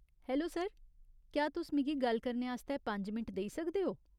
Hello sir, क्या तुस मिगी गल्ल करने आस्तै पंज मिंट देई सकदे ओ ?